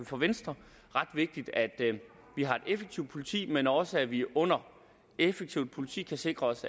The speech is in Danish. for venstre ret vigtigt at vi har et effektivt politi men også at vi under effektivt politi kan sikre os